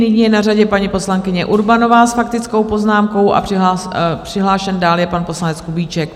Nyní je na řadě paní poslankyně Urbanová s faktickou poznámkou a přihlášen dál je pan poslanec Kubíček.